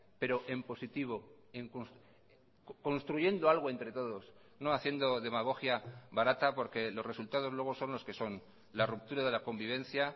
pero en positivo construyendo algo entre todos no haciendo demagogia barata porque los resultados luego son los que son la ruptura de la convivencia